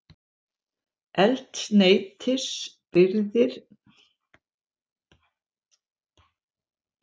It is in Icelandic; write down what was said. Eldsneytisleiðslur lokaðar í París